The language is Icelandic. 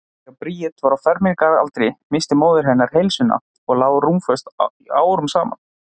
Þegar Bríet var á fermingaraldri missti móðir hennar heilsuna og lá rúmföst árum saman.